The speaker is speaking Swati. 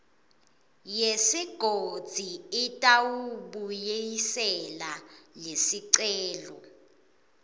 yesigodzi itawubuyisela lesicelo